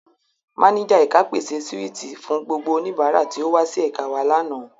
Máníjà ẹ̀ka pèse síwìtì fún gbogbo oníbàárà tí ó wá sí ẹ̀ka wa lánàá.